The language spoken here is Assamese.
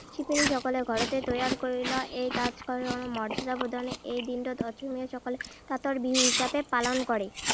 শিপিনী সকলে ঘৰতে তৈয়াৰ কৰি লয়। এই তাঁতশালক মৰ্যদা প্ৰদানৰেই এই দিনটোত অসমীয়াসকলে তাঁতৰ বিহু হিচাপে পালন কৰে।